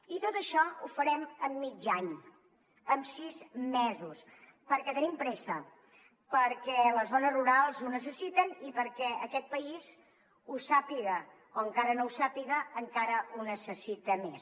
i tot això ho farem en mig any en sis mesos perquè tenim pressa perquè les zones rurals ho necessiten i perquè aquest país ho sàpiga o encara no ho sàpiga encara ho necessita més